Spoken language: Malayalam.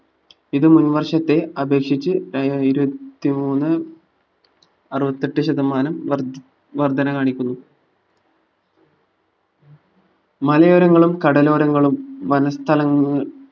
ഇത് മുൻ വർഷത്തെ അപേക്ഷിച്ഛ് ഏർ ഇരുപത്തി മൂന്ന് അറുപത്തെട്ട്‍ ശതമാനം വർധി വർധന കാണിക്കുന്നു മലയോരങ്ങളും കടലോരങ്ങളും വനസ്ഥലങ്ങ ഏർ